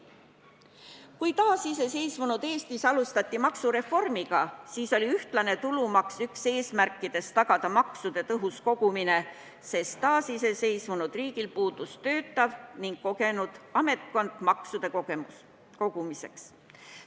Kui taasiseseisvunud Eestis alustati maksureformi, siis oli ühtlase tulumaksu üks eesmärkidest tagada maksude tõhus kogumine, sest iseseisvunud riigil puudus kogenud ametkond maksude kogumiseks.